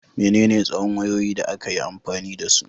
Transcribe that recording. Menene tsawon wayoyi da aka yi amfani da su?